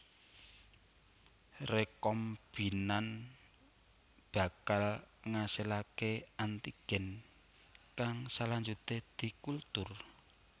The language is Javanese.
Rekombinan bakal ngasilaké antigen kang salanjuté dikultur